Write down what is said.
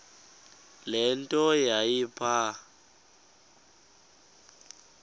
le nto yayipha